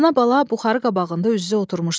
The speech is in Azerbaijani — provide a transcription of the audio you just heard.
Ana-bala buxarı qabağında üz-üzə oturmuşdular.